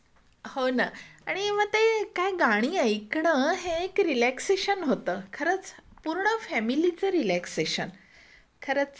हो ना आणि मग ते काय गाणी ऐकण हे एक रिलॅक्सेशन होतं खरंच पूर्ण फॅमिलीचा रिलॅक्सेशन खरंच आहे ना.